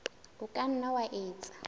o ka nna wa etsa